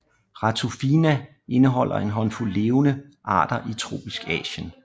Ratufinae indeholder en håndfuld levende arter i tropisk Asien